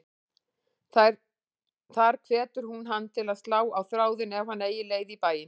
Þar hvetur hún hann til að slá á þráðinn ef hann eigi leið í bæinn.